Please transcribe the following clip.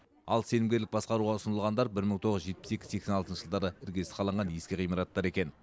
ал сенімгерлік басқаруға ұсынылғандар бір мың тоғыз жүз жетпіс екі сексен алтыншы жылдары іргесі қаланған ескі ғимараттар екен